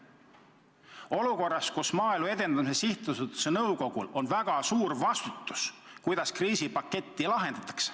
Praeguses olukorras on Maaelu Edendamise Sihtasutuse nõukogul väga suur vastutus selle eest, kuidas kriisipaketti kasutatakse.